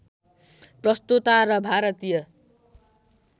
प्रस्तोता र भारतीय